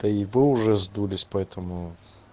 да и вы уже сдулись поэтому